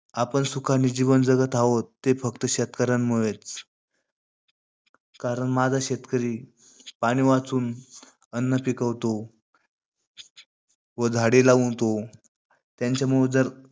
आपण सुखाने जीवन जगत आहोत, ते फक्त शेतकऱ्यांमुळेचं. कारण माझा शेतकरी पाणी वाचवून अन्न पिकवतो, व झाडे जगवतो.